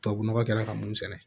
Tubabu nɔgɔ kɛra ka mun sɛnɛ